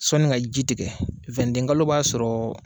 Sɔnni ka ji tigɛ wendekalo b'a sɔrɔ